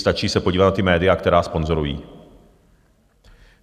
Stačí se podívat na ta média, která sponzorují.